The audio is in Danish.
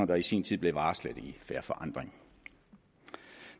der i sin tid blev varslet i fair forandring